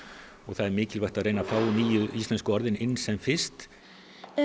og það er mikilvægt að reyna að fá nýju íslensku orðin inn sem fyrst